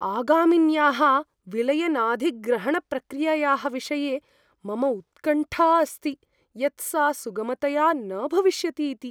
आगामिन्याः विलयनाधिग्रहणप्रक्रियायाः विषये मम उत्कण्ठा अस्ति यत् सा सुगमतया न भविष्यति इति।